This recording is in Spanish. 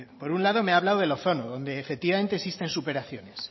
por un lado me ha hablado del ozono donde efectivamente existen superaciones